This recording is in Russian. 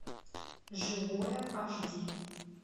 живое аш ди